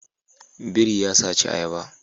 Biri ya saci ayaba